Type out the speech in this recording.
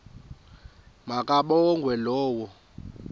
ma kabongwe low